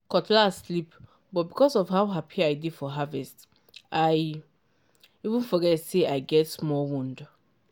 cutlass slip but because of how happy i dey for harvest i even forget say i get small wound.